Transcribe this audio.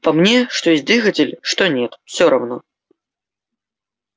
по мне что есть двигатель что нет все равно